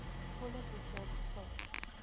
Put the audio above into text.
volle boekjaar gevul